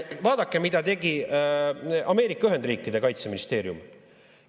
Vaadake, mida tegi Ameerika Ühendriikide kaitseministeerium!